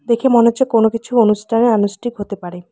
দেখে মনে হচ্ছে কোন কিছু অনুষ্ঠানের আনুষ্ঠিক হতে পারে।